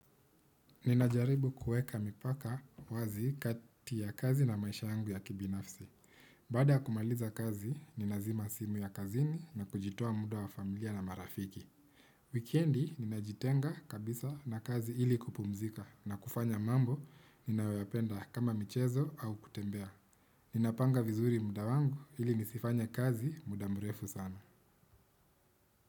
Ninajaribu kueka mipaka wazi kati ya kazi na maisha yangu ya kibinafsi. Baada ya kumaliza kazi, ninazima simu ya kazini na kujitoa muda wa familia na marafiki. Wikendi, ninajitenga kabisa na kazi ili kupumzika na kufanya mambo, ninayoyapenda kama michezo au kutembea. Ninapanga vizuri muda wangu ili nisifanye kazi muda mrefu sana.